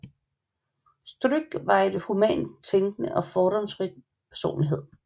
Stryk var en humant tænkende og fordomsfri personlighed